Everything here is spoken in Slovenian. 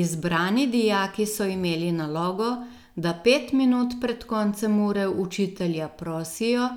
Izbrani dijaki so imeli nalogo, da pet minut pred koncem ure učitelja prosijo,